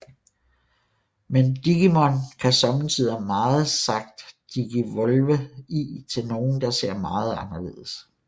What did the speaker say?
Men Digimon kan sommetider som sagt Digivolve i til nogle der ser meget anderledes